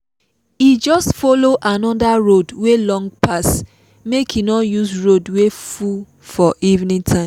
e just follow another road wey long pass make e no use road wey full for evening time